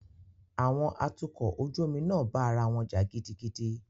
Àwọn atukọ̀ ojú omi náà bá ará wọn jà gidigidi.